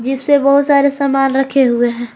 इसपे बहुत सारे सामान रखे हुए हैं।